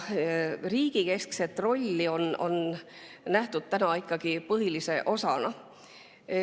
Riigi keskset rolli on seni nähtud ikkagi põhilise osana.